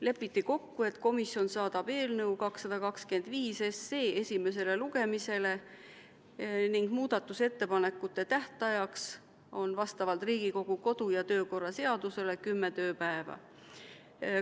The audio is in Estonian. Lepiti kokku, et komisjon saadab eelnõu 225 esimesele lugemisele ning muudatusettepanekute esitamise tähtajaks on vastavalt Riigikogu kodu- ja töökorra seadusele 10 tööpäeva.